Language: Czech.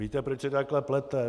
Víte, proč se takhle plete?